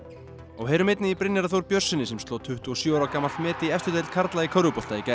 heyrum einnig í Brynjari Þór Björnssyni sem sló tuttugu og sjö ára gamalt met í efstu deild í körfubolta í gær